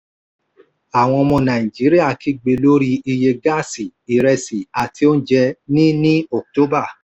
àwọn ọmọ nàìjíríà kígbe lórí iye gáàsì ìrẹsì àti oúnjẹ ní ní october